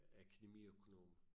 Akademiøkonom